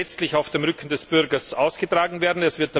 Sie wird letztlich auf dem Rücken des Bürgers ausgetragen werden.